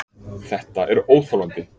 ÞETTA ER ÓÞOLANDI!